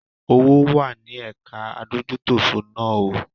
Owó wá ní ẹ̀ka adójútòfò náà o.